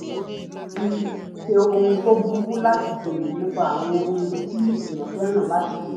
kì í ṣe ohun tó burú láti béèrè nípa àwọn ohun tí èèyàn fẹ́ràn láti ṣe